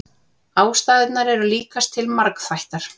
Ástæðurnar eru líkast til margþættar.